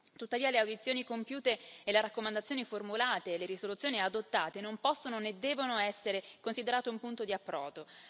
Tuttavia le audizioni compiute, le raccomandazioni formulate e le risoluzioni adottate non possono né devono essere considerate un punto di approdo.